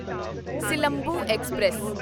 Silambu express